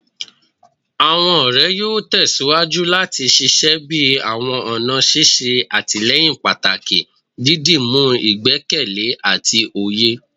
Awọn ọrẹ yoo tẹsiwaju lati ṣiṣẹ bi awọn ọna ṣiṣe atilẹyin pataki, didimu igbẹkẹle ati oye